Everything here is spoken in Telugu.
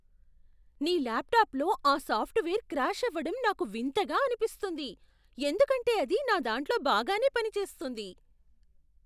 నీ ల్యాప్టాప్లో ఆ సాఫ్ట్వేర్ క్రాష్ అవ్వడం నాకు వింతగా అనిపిస్తుంది, ఎందుకంటే అది నా దాంట్లో బాగానే పనిచేస్తుంది.